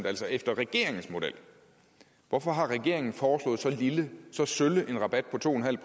altså efter regeringens model hvorfor har regeringen foreslået så lille så sølle en rabat på to en halv